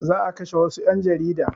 Za a kashe wassu ƴan jarida